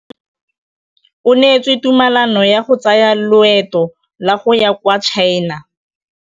O neetswe tumalanô ya go tsaya loetô la go ya kwa China.